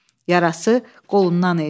Yarası qolundan idi.